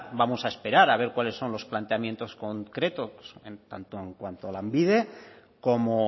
vamos a esperar a ver cuáles son los planteamientos concretos tanto en cuanto a lanbide como